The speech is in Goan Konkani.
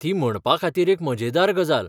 ती म्हणपाखातीर एक मजेदार गजाल.